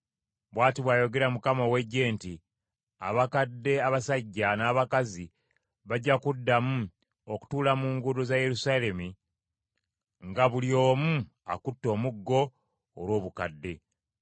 Bw’ati bw’ayogera Mukama ow’Eggye nti, “Abakadde abasajja n’abakazi bajja kuddamu okutuula mu nguudo za Yerusaalemi, nga buli omu akutte omuggo, olw’obukadde.